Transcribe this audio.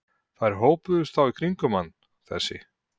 Þær hópuðust þá kringum hann, þessi